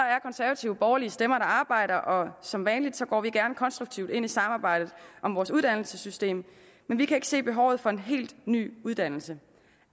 konservative borgerlige stemmer der arbejder og som vanligt går vi gerne konstruktivt ind i samarbejde om vores uddannelsessystem men vi kan ikke se behovet for en helt ny uddannelse